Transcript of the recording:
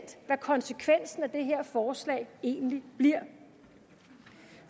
hvad konsekvensen af det her forslag egentlig bliver